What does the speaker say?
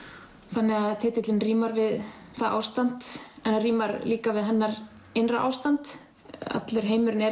þannig að titillinn rímar við það ástand en rímar líka við hennar innra ástand allur heimurinn er